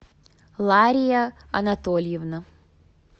лария анатольевна